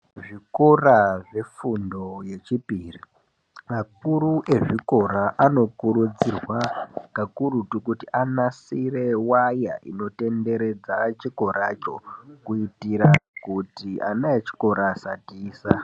Ku zvikora zvefundo yechipiri akuru e zvikora ano kurudzirwa kakurutu kuti anasire waya ino tenderedza chikora cho kuitira kuti ana echikora asa tiza.